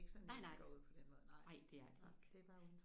Nej nej. Nej det er det ikke